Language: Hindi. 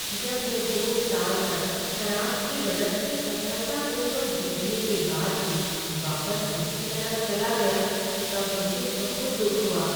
जब मैं दो साल तक शराब की ललक से सफलतापूर्वक जूझने के बाद भी वापस इसकी तरफ चला गया तब मुझे बहुत दुख हुआ।